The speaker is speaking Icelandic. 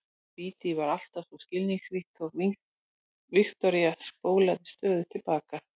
Dídí var alltaf svo skilningsrík þótt Viktoría spólaði stöðugt til baka.